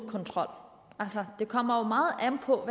kontrol det kommer jo meget an på